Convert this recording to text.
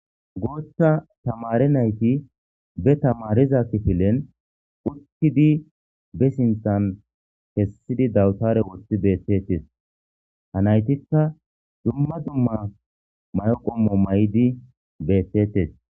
Gootha tamare nayti be tamariza kifilen uttidi be sinthan kessidi dawtare woththi beethtetes ha naytikka dumma dumma mayqommo may'di beethtetes.